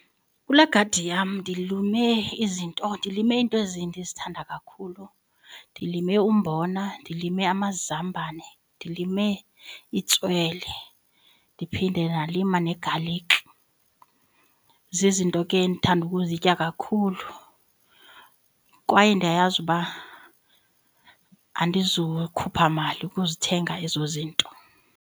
Kule gadi yam ndilume izinto ndilime iinto ezi ndizithanda kakhulu. Ndilime umbona, ndilime amazambane, ndilime itswele ndiphinde ndalinda negalikhi. Zizinto ke endithanda ukuzitya kakhulu kwaye ndiyayazi uba andizukhupha mali ukuzithenga ezo zinto.